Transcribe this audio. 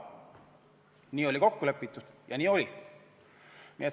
Nii oli kokku lepitud ja nii oli.